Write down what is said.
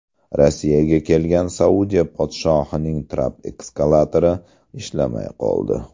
Rossiyaga kelgan Saudiya podshohining trap-eskalatori ishlamay qoldi.